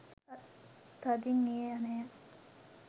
තදින් ඒ ඇණය